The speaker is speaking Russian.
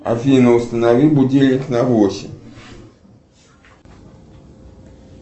афина установи будильник на восемь